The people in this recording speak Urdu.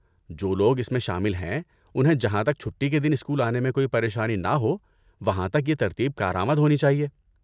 جو لوگ اس میں شامل ہیں، انہیں جہاں تک چھٹی کے دن اسکول آنے میں کوئی پریشانی نہ ہو وہاں تک یہ ترتیب کارآمد ہونی چاہیے۔